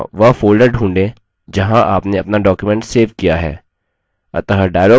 यहाँ वह folder ढ़ूंढें जहाँ आपने अपना document सेव किया है